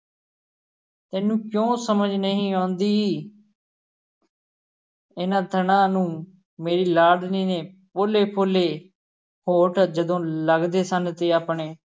ਤੈਨੂੰ ਕਿਉਂ ਸਮਝ ਨਹੀਂ ਆਉਂਦੀ ਇਹਨਾਂ ਥਣਾਂ ਨੂੰ ਮੇਰੀ ਲਾਡਲੀ ਦੇ ਪੋਲੇ-ਪੋਲੇ ਹੋਂਠ ਜਦੋਂ ਲਗਦੇ ਸਨ ਤੇ ਆਪਣੇ